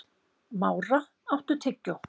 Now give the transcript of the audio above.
Mára, áttu tyggjó?